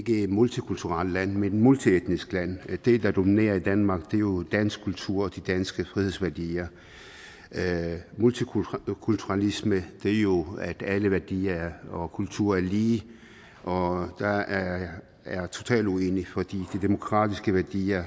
et multikulturelt land men et multietnisk land det der dominerer i danmark er jo dansk kultur og de danske frihedsværdier multikulturalisme er jo at alle værdier og kulturer er lige og der er jeg totalt uenig for de demokratiske værdier